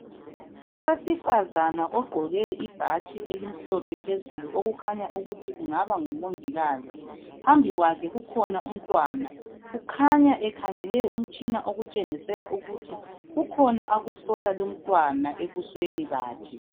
Owesifazana ogqoke ibhatshi elimhlophe phezulu okukhanya ukuthi engaba ngumungikazi. Phambili kwakhe ukhona umntwana. Ukhanya ekhangele umtshina okutshengisela ukuthi kukhona akuhlola umntwana ebusweni bakhe.